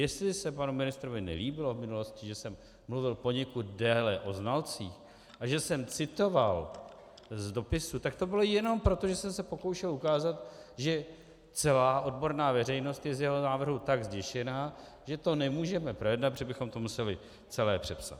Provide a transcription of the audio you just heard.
Jestli se panu ministrovi nelíbilo v minulosti, že jsem mluvil poněkud déle o znalcích a že jsem citoval z dopisu, tak to bylo jenom proto, že jsem se pokoušel ukázat, že celá odborná veřejnost je z jeho návrhu tak zděšená, že to nemůžeme projednat, protože bychom to museli celé přepsat.